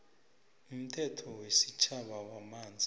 umthetho wesitjhaba wamanzi